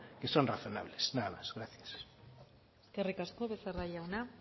que son razonables nada más gracias eskerrik asko becerra jauna